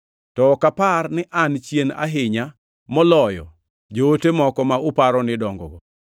to ok apar ni an chien ahinya moloyo “joote” moko ma uparo ni dongogo!